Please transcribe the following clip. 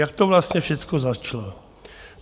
Jak to vlastně všecko začalo?